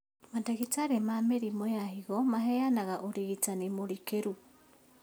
Mandagĩtarĩ ma mĩrimũ ya higo maheanaga ũrigitani mũrikĩru